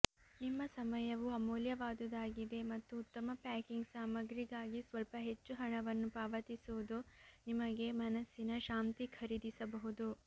ನಿಮ್ಮ ಸಮಯವು ಅಮೂಲ್ಯವಾದುದಾಗಿದೆ ಮತ್ತು ಉತ್ತಮ ಪ್ಯಾಕಿಂಗ್ ಸಾಮಗ್ರಿಗಾಗಿ ಸ್ವಲ್ಪ ಹೆಚ್ಚು ಹಣವನ್ನು ಪಾವತಿಸುವುದು ನಿಮಗೆ ಮನಸ್ಸಿನ ಶಾಂತಿ ಖರೀದಿಸಬಹುದು